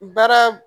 Baara